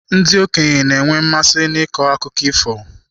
Ndị okenye na-enwe mmasị n'ịkọ akụkọ ifo.